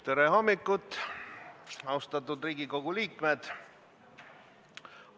Tere hommikust, austatud Riigikogu liikmed!